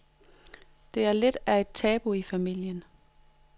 Det er lidt af et tabu i familien.